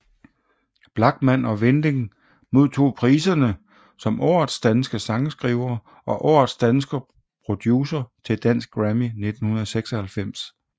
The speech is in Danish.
Blachman og Winding modtog priserne som Årets danske sangskriver og Årets danske producer til Dansk Grammy 1996